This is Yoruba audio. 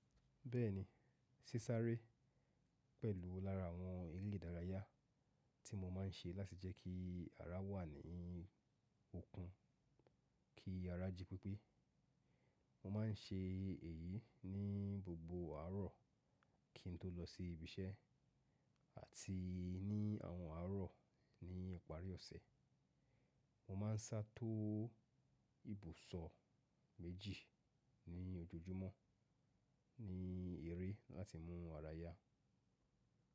Bẹ́ẹ̀ni, sísáré pẹ̀lú lára àwọn eré ìdárayá tí mo máa ń ṣe láti jẹ́ kí ara wà ní okun kí ara jí pípé. Mo máa ń ṣe èyí ní gbogbo àárọ̀ kí n tó lọ sí ibiṣẹ́ àti ní àwọn àárọ̀ ní ipàrí ọ̀sẹ̀. Mo máa ń sá tó ibùsọ̀ méjì ní ojoojúmọ́ ní eré láti mú ara yá.